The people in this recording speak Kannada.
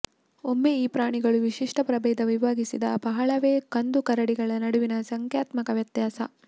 ಒಮ್ಮೆ ಈ ಪ್ರಾಣಿಗಳು ವಿಶಿಷ್ಟ ಪ್ರಭೇದ ವಿಭಾಗಿಸಿದ ಬಹಳವೇ ಕಂದು ಕರಡಿಗಳ ನಡುವಿನ ಸಂಖ್ಯಾತ್ಮಕ ವ್ಯತ್ಯಾಸ